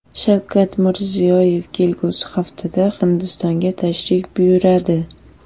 Shavkat Mirziyoyev kelgusi haftada Hindistonga tashrif buyuradi.